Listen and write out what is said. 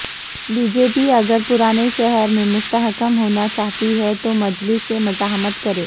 be J P اگر پرانے شہر میںمستحکم ہوناچاہتی ہے تو مجلس سے مفاہمت کرے